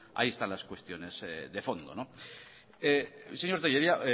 ahí están las cuestiones de fondo señor tellería